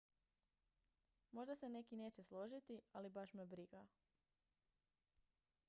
"""možda se neki neće složiti ali baš me briga.